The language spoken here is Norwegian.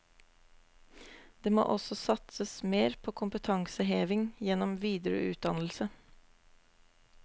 Det må også satses mer på kompetanseheving gjennom videreutdannelse.